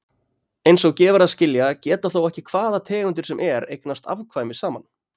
Eins og gefur að skilja geta þó ekki hvaða tegundir sem er eignast afkvæmi saman.